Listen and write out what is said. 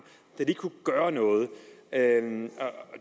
da de kunne gøre noget